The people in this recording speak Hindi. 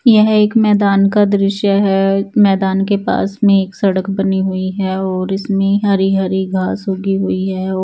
ये एक मैदान का दृश्य हैं मैदान के पास में एक सड़क बनी हुई हैं और इसमें हरी हरी घास उगी हुई हैं ओ--